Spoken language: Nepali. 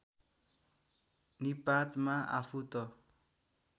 निपातमा आफू त